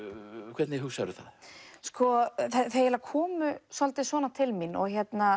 hvernig hugsarðu það þau eiginlega komu svolítið svona til mín og